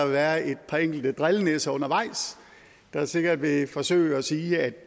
være et par enkelte drillenisser undervejs der sikkert vil forsøge at sige at